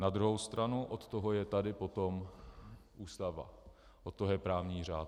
Na druhou stranu od toho je tady potom Ústava, od toho je právní řád.